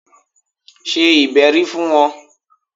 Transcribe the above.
Ṣe ìbẹ́rí fún wọn!